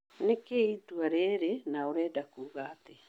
Nĩkĩĩ itua rĩrĩ, na ũrenda Kuga atĩa?